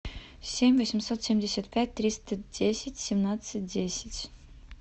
семь восемьсот семьдесят пять триста десять семнадцать десять